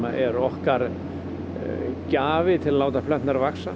er okkar til að láta plönturnar vaxa